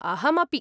अहमपि।